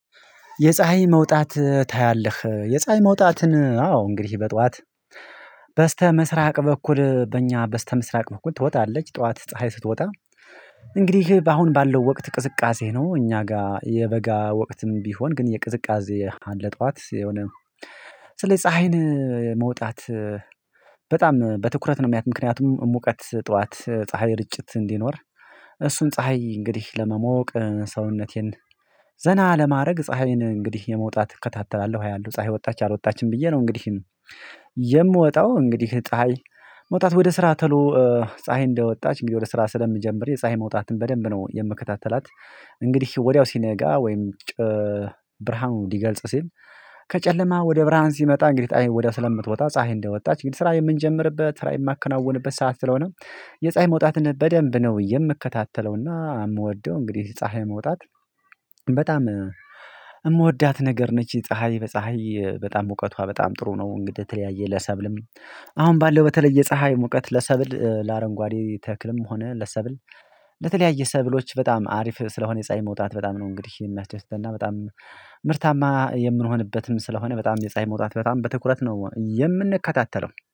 የፀሀይ መውጣት ታያለህ? የፀሀይ መውጣትን አዎ እንግዲህ በጧት በስተምስራቅ በኩል በእኛ በስተምስራቅ በኩል ትወጣለች ጠዋት ፀሀይ ስትወጣ። እንግዲህ አሁን ባለው ወቅት ቅስቃሴ ነው እኛ ጋር የበጋ ወቅትም ቢሆን ግን የቅዝቃዜ አለ። ጠዋት የሆነ ስለዚህ ፀሀይን መውጣት በጣም በትኩረት ነው ማያት ምክንያቱም ሙቀት ጠዋት ፀሀይ ርጭት እንዲኖር እሱን ፀሀይ እንግዲህ ለመሞቅ ሰውነቴን ዘና ለማድረግ ፀሀይን እንግዲህ የመውጣት እከታተላለሁ አያለሁ ፀሀይ ወጣች አልወጣችም ብዬ ነው። እንግዲህ የምወጣው እንግዲህ ፀሀይ መውጣት ወደ ስራ ተሎ ፀሀይ እንደወጣች እንግዲህ ወደ ስራ ስለምጀምር የፀሀይ መውጣትን በደንብ ነው የምከታተላት። እንግዲህ ወዲያው ሲነጋ ወይም ብርሃኑን እንዲገልጽ ሲል ከጨለማ ወደ ብርሃን ሲመጣ እንግዲህ ፀሀይም ወዲያ ስለምትወጣ ፀሀይ እንደወጣች እንግዲህ ስራ የምንጀምርበት ስራ የማከናውንበት ሰዓት ስለሆነ የፀሀይ መውጣትን በደንብ ነው የምከታተለውና የምወደው እንግዲህ ፀሀይ መውጣት በጣም የምወዳት ነገር ነች። ፀሀይ በፀሀይ በጣም እውቀቷ በጣም ጥሩ ነው እንግዳ የተለያየ ለሳብልም አሁን ባለው በተለየ ፀሀይ ሙቀት ለሰብል ለአረንጓዴ ተክልም ሆነ ለሰብል ለተለያዩ ሰብሎች በጣም አሪፍ ስለሆነ የፀአይ መውጣት በጣም ነው እንግዲህ የሚያስደስተንና በጣም ምርታማ የምንሆንበትም ስለሆነ በጣም የፀሀይ መውጣት በጣም በትኩረት ነው የምንከታተለው